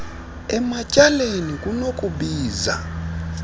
ematy aleni kunokubiza